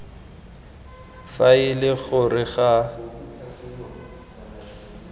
fa e le gore ga